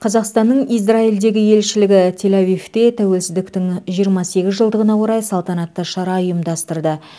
қазақстаның израильдегі елшілігі тель авивте тәуелсіздіктің жиырма сегіз жылдығына орай салтанатты шара ұйымдастырды